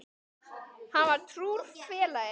Hann var trúr félagi.